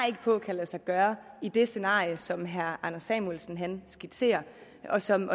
ikke på kan lade sig gøre i det scenarie som herre anders samuelsen skitserer og som